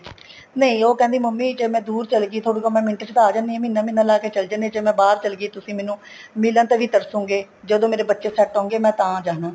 ਨਹੀਂ ਉਹ ਕਹਿੰਦੀ ਮੰਮੀ ਜ਼ੇ ਮੈਂ ਦੂਰ ਚੱਲੀ ਗਈ ਤੁਹਾਡੇ ਕੋਲ ਮੈਂ ਮਿੰਟ ਚ ਆ ਜਾਂਦੀ ਆ ਮਹੀਨਾ ਮਹੀਨਾ ਲਾਕੇ ਚੱਲੀ ਜਾਣੀ ਹਾਂ ਜੇ ਮੈਂ ਬਹਾਰ ਚਲੀ ਗਈ ਤੁਸੀਂ ਮੈਨੂੰ ਮਿਲਣ ਤੇ ਵੀ ਤਰਸੋਗੇ ਜਦੋਂ ਮੇਰੇ ਬੱਚੇ set ਹੋਗੇ ਮੈਂ ਤਾਂ ਜਾਣਾ